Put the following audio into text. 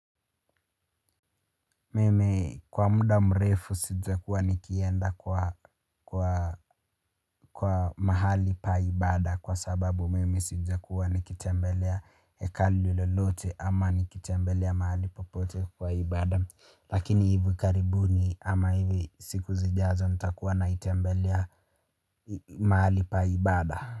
Mimi kwa muda mrefu sijakuwa nikienda kwa mahali pa ibada kwa sababu mimi sijakuwa nikitembelea hekalu lolote ama nikitembelea mahali popote kwa ibada. Lakini hivi karibuni ama hivi siku zijazo nitakuwa naitembelea mahali pa ibada.